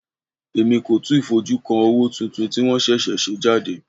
Èmi kò tíì fojú kan owó tuntun tí wọ́n ṣẹ̀ṣẹ̀ ṣe jáde.